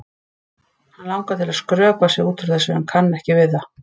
Hann langar til að skrökva sig út úr þessu en kann ekki við það.